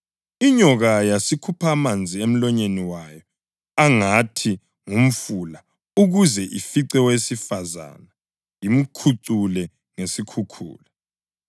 Inyoka yasikhupha amanzi emlonyeni wayo angathi ngumfula ukuze ifice owesifazane imkhucule ngesikhukhula.